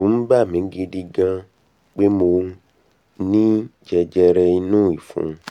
ẹ̀rù ń bà mi gidi gan pé mo ní jẹjẹrẹ inú ìfun